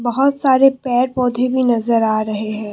बहोत सारे पेड़ पौधे भी नजर आ रहे हैं।